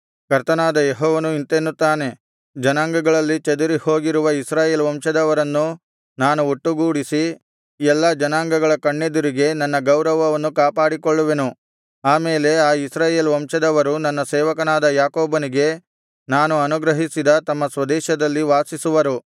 ಕರ್ತನಾದ ಯೆಹೋವನು ಇಂತೆನ್ನುತ್ತಾನೆ ಜನಾಂಗಗಳಲ್ಲಿ ಚದುರಿ ಹೋಗಿರುವ ಇಸ್ರಾಯೇಲ್ ವಂಶದವರನ್ನು ನಾನು ಒಟ್ಟುಗೂಡಿಸಿ ಎಲ್ಲಾ ಜನಾಂಗಗಳ ಕಣ್ಣೆದುರಿಗೆ ನನ್ನ ಗೌರವವನ್ನು ಕಾಪಾಡಿಕೊಳ್ಳುವೆನು ಆಮೇಲೆ ಆ ಇಸ್ರಾಯೇಲ್ ವಂಶದವರು ನನ್ನ ಸೇವಕನಾದ ಯಾಕೋಬನಿಗೆ ನಾನು ಅನುಗ್ರಹಿಸಿದ ತಮ್ಮ ಸ್ವದೇಶದಲ್ಲಿ ವಾಸಿಸುವರು